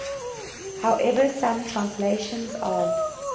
however some translations of